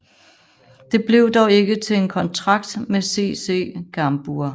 Det blev dog ikke til en kontrakt med SS Cambuur